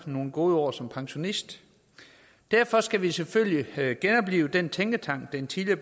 nogle gode år som pensionist derfor skal vi selvfølgelig genoplive den tænketank den tidligere